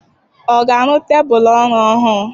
Ọ ga-arụ tebụlụ ọrụ ọhụrụ?